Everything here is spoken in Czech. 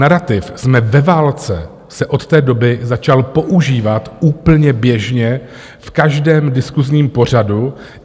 Narativ "jsme ve válce" se od té doby začal používat úplně běžně, v každém diskusním pořadu.